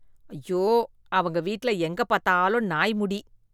ஐயோ அவங்க வீட்ல எங்க பாத்தாலும் நாய் முடி.